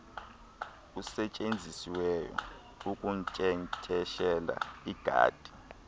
usetyenzisiweyo ukunkcenkceshela igadi